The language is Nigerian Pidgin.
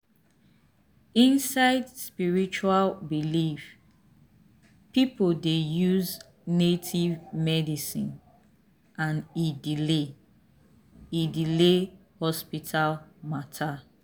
inside spiritual belief people dey use native medicine and e delay e delay hospital matter.